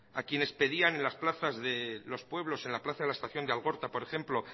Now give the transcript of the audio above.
a quienes pedían en las plazas de los pueblos en la plaza de estación de algorta por ejemplo